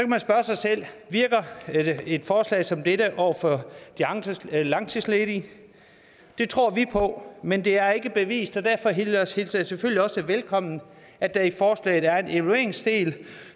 man spørge sig selv virker et forslag som dette over for de langtidsledige det tror vi på men det er ikke bevist og derfor hilser jeg selvfølgelig også velkommen at der i forslaget er en evalueringsdel